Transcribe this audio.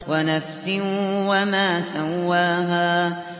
وَنَفْسٍ وَمَا سَوَّاهَا